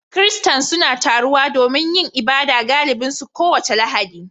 Kiristan suna taruwa don yin ibada galibi su kowace Lahadi